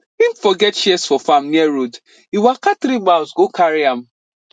him forget shears for farm near road e waka three mile go carry am